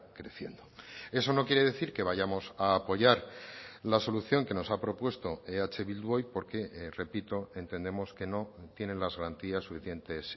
creciendo eso no quiere decir que vayamos a apoyar la solución que nos ha propuesto eh bildu hoy porque repito entendemos que no tienen las garantías suficientes